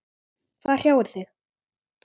Hvað hrjáir þig?